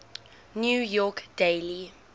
new york daily